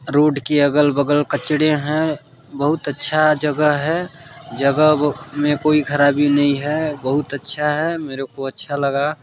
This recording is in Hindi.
रोड के अगल-बगल कचड़े है बहोत अच्छा जगह है जगह ब मे कोई खराबी नहीं है बहुत अच्छा है मेरे को अच्छा लगा--